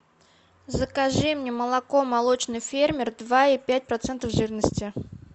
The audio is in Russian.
закажи мне молоко молочный фермер два и пять процентов жирности